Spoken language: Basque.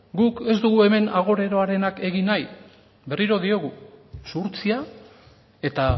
guk ez dugu hemen agoreroarenak egin nahi berriro diogu zuhurtzia eta